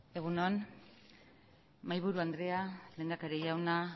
egun on mahaiburu andrea lehendakari jauna